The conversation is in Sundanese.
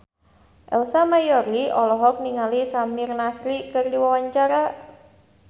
Ersa Mayori olohok ningali Samir Nasri keur diwawancara